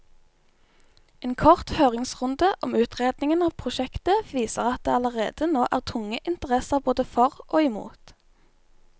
En kort høringsrunde om utredningen av prosjektet viser at det allerede nå er tunge interesser både for og imot.